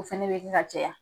O fana bɛ kɛ ka caya.